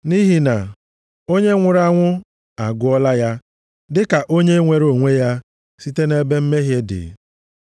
Nʼihi na onye nwụrụ anwụ agụọla ya dịka onye nwere onwe ya site nʼebe mmehie dị.